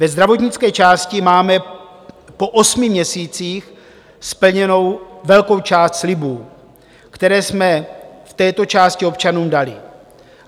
Ve zdravotnické části máme po osmi měsících splněnu velkou část slibů, které jsme v této části občanům dali.